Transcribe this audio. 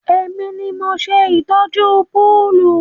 Èmi ni mo ṣe ìtọ́jú púùlù